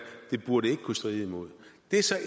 det burde ikke kunne stride imod det er så